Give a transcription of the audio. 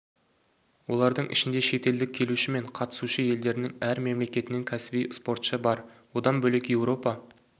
олардың ішінде шетелдік келуші мен қатысушы елдерінің әр мемлекетінен кәсіби спортшы бар одан бөлек еуропа